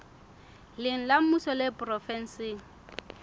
leng la mmuso le provenseng